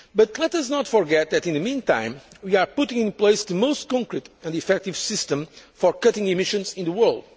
Let us not forget that in the meantime, we are putting in place the most concrete and effective system for cutting emissions in the